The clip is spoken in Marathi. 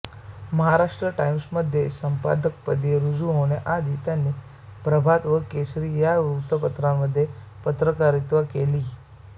महाराष्ट्र टाइम्समध्ये संपादकपदी रुजू होण्याआधी त्यांनी प्रभात व केसरी या वृत्तपत्रांत पत्रकारिता केली